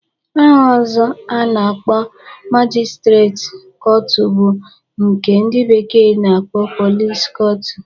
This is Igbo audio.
Aha ọzọ a na-akpọ majistreti kọtụ bụ nke ndị bekee na-akpọ pọlis kọtụ